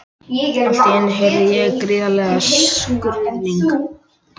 Allt í einu heyrði ég gríðarlegan skruðning.